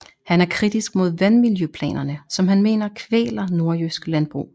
Han er kritisk mod vandmiljøplanerne som han mener kvæler nordjysk landbrug